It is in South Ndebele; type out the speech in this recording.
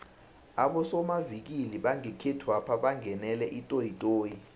abosomavikili bangekhethwapha bangenele itoyitoyi